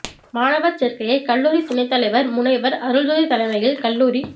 மாணவா் சோ்க்கையை கல்லூரி துணைத் தலைவா் முனைவா் அருள்ஜோதி தலைமையில் கல்லூரி